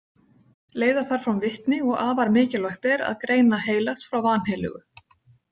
Leiða þarf fram vitni og afar mikilvægt er að greina heilagt frá vanheilögu.